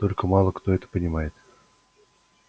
только мало кто это понимает